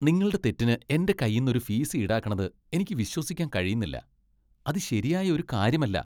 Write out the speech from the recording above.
നിങ്ങളുടെ തെറ്റിന് എന്റെ കയ്യിന്ന് ഒരു ഫീസ് ഈടാക്കണത് എനിക്ക് വിശ്വസിക്കാൻ കഴിയുന്നില്ല. അത് ശരിയായ ഒരു കാര്യമല്ല .